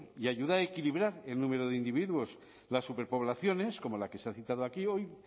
y ayuda a equilibrar el número de individuos las superpoblaciones como la que se ha citado aquí hoy